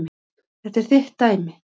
Þetta er þitt dæmi.